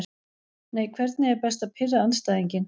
Nei Hvernig er best að pirra andstæðinginn?